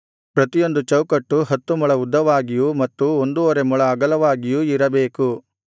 ಪ್ರತಿಯೊಂದು ಚೌಕಟ್ಟು ಹತ್ತು ಮೊಳ ಉದ್ದವಾಗಿಯೂ ಮತ್ತು ಒಂದೂವರೆ ಮೊಳ ಅಗಲವಾಗಿಯೂ ಇರಬೇಕು